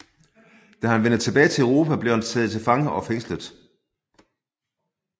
Da han vendte tilbage til Europa blev han taget til fange og fængslet